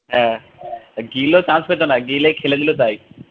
হ্যাঁ গিলও chance পেত না গিল এ খেলে দিল তাই